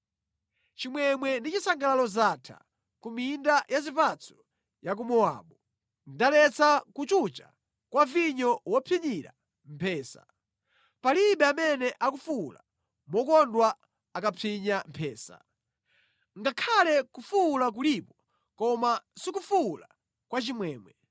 Chimwemwe ndi chisangalalo zatha ku minda ya zipatso ya ku Mowabu. Ndaletsa kuchucha kwa vinyo mopsinyira mphesa; palibe amene akufuwula mokondwa akamapsinya mphesa. Ngakhale kufuwula kulipo, koma sikufuwula kwa chimwemwe.